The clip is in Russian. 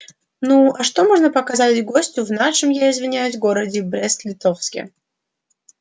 ну а что можно показать гостю в нашем я извиняюсь городе брест литовске